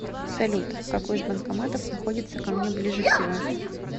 салют какой из банкоматов находится ко мне ближе всего